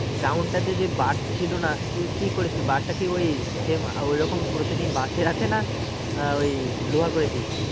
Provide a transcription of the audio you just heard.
Ground টাতে যে bar ছিল না তো কি করেছে bar টা কি ওই same ওরকম পুরাতনই বাঁশের আছে না আহ ওই লোহার করেছিস?